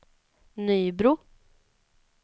Nybro